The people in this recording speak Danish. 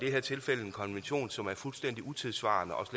her tilfælde en konvention som er fuldstændig utidssvarende og